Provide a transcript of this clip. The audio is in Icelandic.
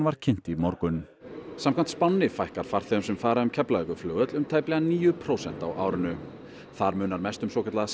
var kynnt í morgun samkvæmt spánni fækkar farþegum sem fara um Keflavíkurflugvöll um tæplega níu prósent á árinu þar munar mest um svokallaða